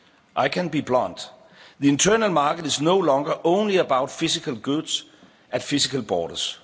speed. I can be blunt the internal market is no longer only about physical goods at physical